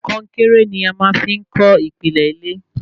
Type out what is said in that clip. Konkéré ní a máa fí n kọ́ ìpìlẹ ilé